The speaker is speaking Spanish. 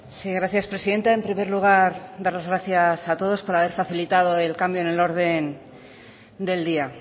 sí gracias presidenta en primer lugar dar las gracias a todos por haber facilitado el cambio en el orden del día